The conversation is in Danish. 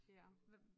Ja